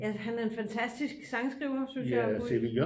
At han er en fantastisk sangskriver synes jeg og poet